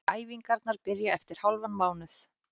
Æfingarnar byrja eftir hálfan mánuð.